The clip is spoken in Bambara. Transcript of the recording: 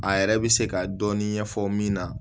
A yɛrɛ bɛ se ka dɔɔnin ɲɛfɔ min na